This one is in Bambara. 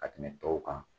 Ka tɛmɛ tɔw kan